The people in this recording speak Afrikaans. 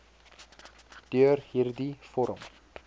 deur hierdie vorm